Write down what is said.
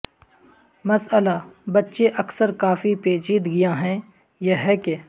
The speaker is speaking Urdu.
مسئلہ بچے اکثر کافی پیچیدگیاں ہیں یہ ہے کہ